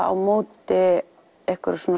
á móti einhverju svona